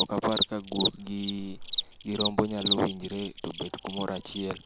ok apar ka guok giii gi rombo nyalo winjre tobet kumoro achiel